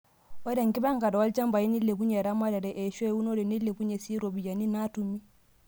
Ore enkipangare olchampai neilepunyie eramatare eshua eunore neilepunyie sii ropiyiani naatumi.